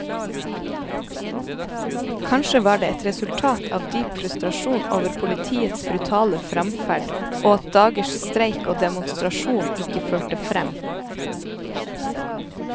Kanskje var det et resultat av dyp frustrasjon over politiets brutale fremferd og at dagers streik og demonstrasjon ikke førte frem.